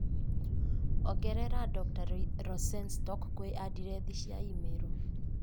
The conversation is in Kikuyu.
ongerera dr. rosenstock kwĩ andirethi cĩa i-mīrū